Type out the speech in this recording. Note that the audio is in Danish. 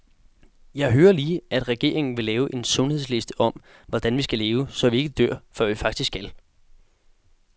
Jeg hører lige, at regeringen vil lave en sundhedsliste om, hvordan vi skal leve, så vi ikke dør, før vi faktisk skal.